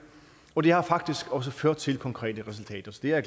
og det har faktisk også ført til konkrete resultater så det er